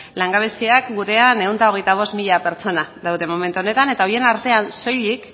lan gabeziak gurean ehun eta hogeita bost mila pertsona daude momentu honetan eta horien artean soilik